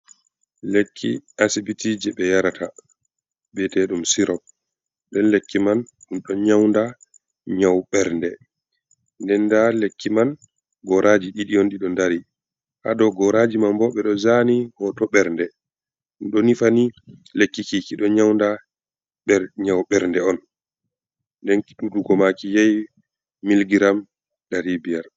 Lekki asibiti je ɓe yarata biyete ɗum sirop nden lekki man um ɗo nyaunda nyau ɓernde, nden nda lekki man goraji ɗiɗi on ɗiɗo dari, ha dou goraji man bo ɓe ɗo zani ho to ɓernde ɗum ɗo nufani lekki kiki ɗo nyaunda nyau ɓernde on nden tutugo maki yehi milgiram dari biyar.